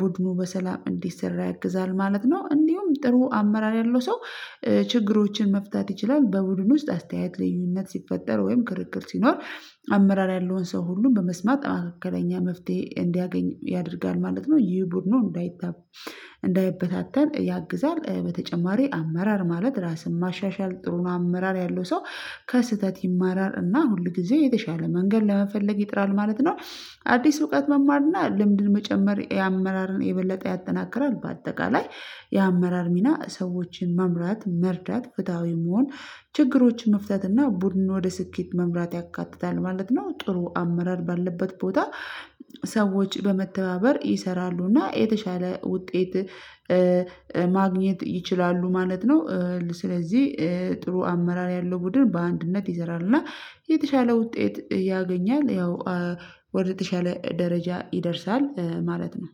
ቡድኑ በሰላም እንዲሰራ ያግዛል ማለት ነው። እንዲሁም ጥሩ አመራር ያለው ሰው ችግሮችን መፍታት ይችላል በቡድን ውስጥ አስተያየት ልዩነት ሲፈጠር ወይም ክርክር ሲኖር አመራር ያለውን ሰው ሁሉን በመስማት አካባቢው መፍትሄ እንዲያገኝ ያደርጋል ማለት ነው። ይህ ቡድኑን እንዳይበታተን ያግዛል። በተጨማሪ አመራር ማለት ራስን ማሻሻል ጥሩ ነው። አመራር ያለው ሰው ከስህተት ይማራል እና ሁል ጊዜ የተሻለ መንገድ ለመፈለግ ይጥራል ማለት ነው። አዲስ እውቀት መማር እና ልምድን መጨመር አመራርን የበለጠ ያጠናክራል። በአጠቃላይ የአመራር ሚና ሰዎችን መምራት መርዳት ፍትሃዊ መሆን ችግሮችን መፍታት እና ቡድን ወደ ስኬት መምራት ያካትታል ማለት ነው። ጥሩ አመራር ባለበት ቦታ ሰዎች በመተባበር ይሰራሉ እና የተሻለ ውጤት ማግኘት ይችላሉ ማለት ነው። ስለዚህ ጥሩ አመራር ያለው ቡድን በአንድነት ይዘራል እና የተሻለ ውጤት ያገኛል ያው ወደ የተሻለ ደረጃ ይደርሳል ማለት ነው።